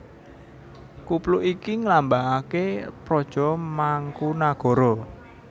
Kupluk iki nglambangaké praja Mangkunagara